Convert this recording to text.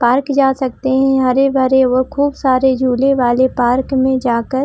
Park जा सकते है हरे-भरे व खूब सारे झूले वाले पार्क में जाकर।